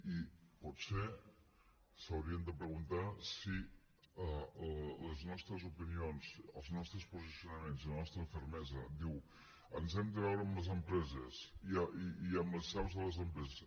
i potser s’haurien de preguntar si les nostres opinions els nostres posicionaments i la nostra fermesa diu ens hem de veure amb les empreses i amb les seus de les empreses